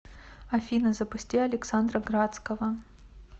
афина запусти александра градского